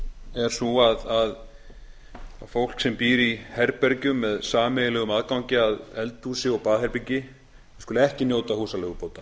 er sú að fólks sem býr í herbergjum með sameiginlegum aðgangi að eldhúsi og baðherbergi skuli ekki njóta húsaleigubóta